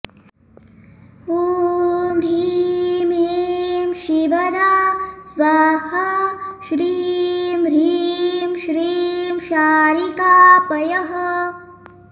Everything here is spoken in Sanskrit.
ॐ ह्रीं ऐं शिवदा स्वाहा श्रीं ह्रीं श्रीं शारिका पयः